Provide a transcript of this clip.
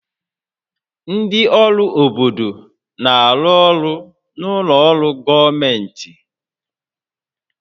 Ndị ọrụ obodo na-arụ ọrụ na ụlọ ọrụ gọọmentị